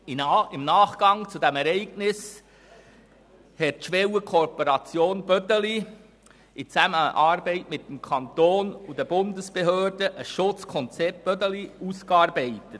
Im Nachgang zu diesem Ereignis hatte die Schwellenkooperation Bödeli in Zusammenarbeit mit dem Kanton und den Bundesbehörden ein Schutzkonzept ausgearbeitet.